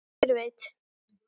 Hver veit!